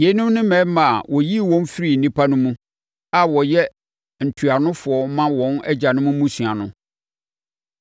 Yeinom ne mmarima a wɔyii wɔn firii nnipa no mu, a wɔyɛ ntuanofoɔ ma wɔn agyanom mmusua no.